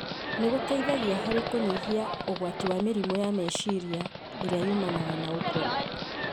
nĩ gũteithagia harĩ kũnyihanyihia ũgwati wa mĩrimũ ya meciria ĩrĩa yumanaga na ũkũrũ.